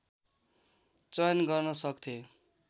चयन गर्न सक्थे